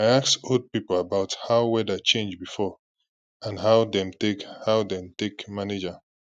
i ask old people about how weather change before and how dem take how dem take manage am